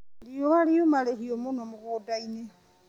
Riũa riuma rĩhiũ mũno mũgũndainĩ.